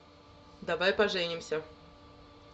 давай поженимся